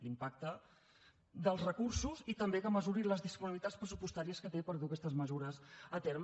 l’impacte dels recursos i també que mesuri les disponibilitats pressupostàries que té per dur aquestes mesures a terme